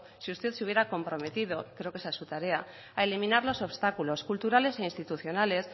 sí usted se hubiera comprometido creo que esa es su tarea a eliminar los obstáculos culturales e institucionales